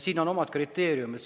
Siin on omad kriteeriumid.